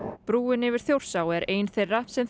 brúin yfir Þjórsá er ein þeirra sem